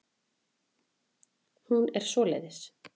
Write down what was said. Hún er svoleiðis.